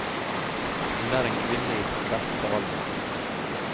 Hun er en kvinne i sin beste alder.